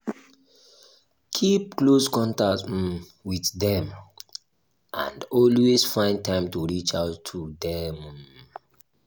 keep close contact um with them and always find time to reach out to them um